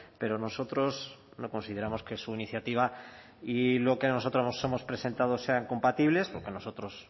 pero nosotros no consideramos que su iniciativa y lo que nosotros hemos presentado sean compatibles porque nosotros